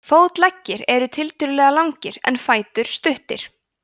fótleggir eru tiltölulega langir en fætur stuttir